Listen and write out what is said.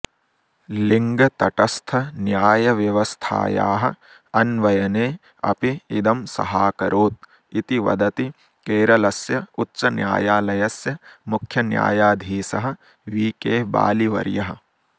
लिङ्गतटस्थन्यायव्यवस्थायाः अन्वयने अपि इदं सहाकरोत् इति वदति केरलस्य उच्चन्यायालयस्य मुख्यन्यायाधीशः वि के बालिवर्यः